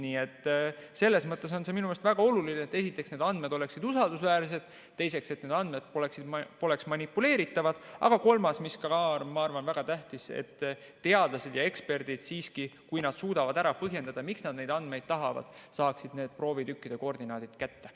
Nii et selles mõttes on see minu arust väga oluline, et esiteks, need andmed oleksid usaldusväärsed, teiseks, et need andmed poleks manipuleeritavad, aga kolmas, mis ka, ma arvan, on väga tähtis, et teadlased ja eksperdid, kui nad suudavad ära põhjendada, miks nad neid andmeid tahavad, saaksid need proovitükkide koordinaadid kätte.